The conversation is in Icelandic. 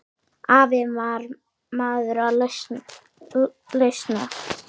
Afi var maður lausna.